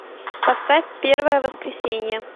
поставь первое воскресенье